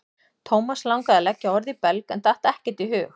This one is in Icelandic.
Thomas langaði að leggja orð í belg en datt ekkert í hug.